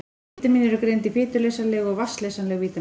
Vítamín eru greind í fituleysanleg og vatnsleysanleg vítamín.